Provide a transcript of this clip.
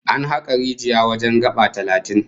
An haka rijiya wajen gaba talatin